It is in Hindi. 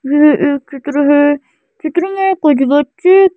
यह एक चित्र है चित्र में कुछ बच्चे--